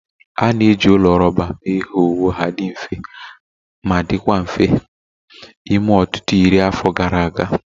A na-eji ụlọ rọba mee ihe owuwu ha dị mfe ma dịkwa mfe ime ọtụtụ iri afọ gara aga